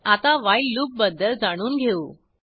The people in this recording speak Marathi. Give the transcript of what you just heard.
आता व्हाईल लूपबद्दल जाणून घेऊ